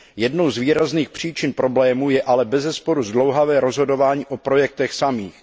Jednou z výrazných příčin problémů je ale bezesporu zdlouhavé rozhodování o projektech samých.